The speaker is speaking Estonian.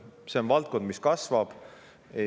See on valdkond, mis kasvab.